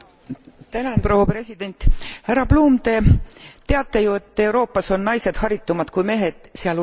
Härra Bloom, Te teate ju, et Euroopas on naised haritumad kui mehed, sealhulgas ka Teie koduriigis.